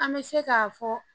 An bɛ se k'a fɔ